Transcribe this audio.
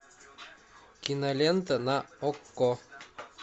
кинолента на окко